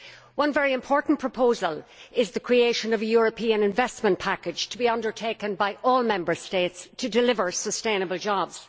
One very important proposal is the creation of a European investment package to be undertaken by all Member States to deliver sustainable jobs.